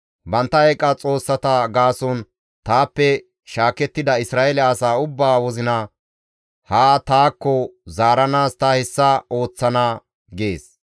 Bantta eeqa xoossata gaason taappe shaakettida Isra7eele asaa ubbaa wozina haa taakko zaaranaas ta hessa ooththana› gees.